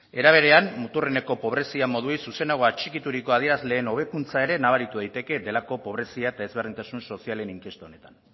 era berean muturreneko pobreziari zuzenago atxikituriko adierazleen hobekuntza ere nabaritu daiteke delako pobrezia ezberdintasun sozialen inkesta honetan